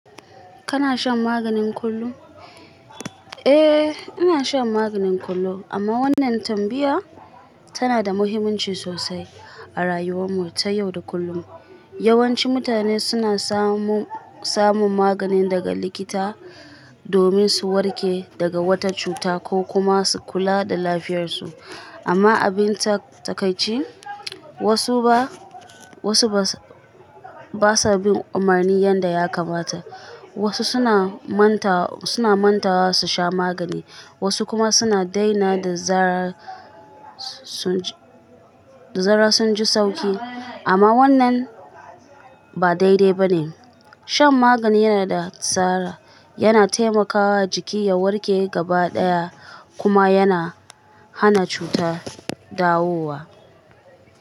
Kana shan magani kullum? Eh, ina shan magani kullum, amma wannan tambaya tana da muhimmanci sosai a rayuwar mu ta yau da kullum. Yawanci mutane suna samun magani daga likita domin su warke daga wata cuta ko kuma su kula da lafiyarsu. Amma abin takaici, wasu ba, wasu ba sa, ba sa bin umarni yadda ya kamata. Wasu suna manta, suna manta wa su sha magani, wasu kuma suna daina da zarar sun ji, da zarar sun ji sauki. Amma wannan ba daidai ba ne. Shan magani yana da tsari, yana taimakawa jiki ya warke gaba ɗaya kuma yana hana cuta dawowa.